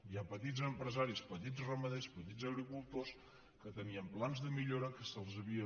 hi ha petits empresaris petits ramaders petits agricultors que tenien plans de millora que se’ls havia